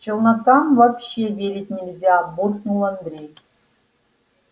челнокам вообще верить нельзя буркнул андрей